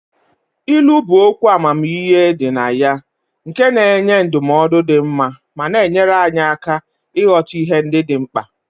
Ilu bụ okwu amamihe dị na ya nke na-enye ndụmọdụ dị mma ma na-enyere anyị aka ịghọta ihe ndị dị mkpa.